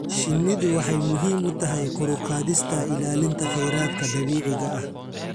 Shinnidu waxay muhiim u tahay kor u qaadista ilaalinta kheyraadka dabiiciga ah.